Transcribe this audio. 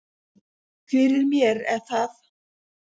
Fyrir mér er það